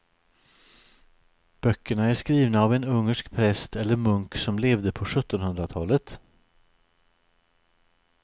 Böckerna är skrivna av en ungersk präst eller munk som levde på sjuttonhundratalet.